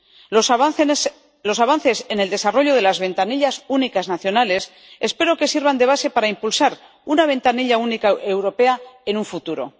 Los avances en el desarrollo de las ventanillas únicas nacionales espero que sirvan de base para impulsar una ventanilla única europea en un futuro.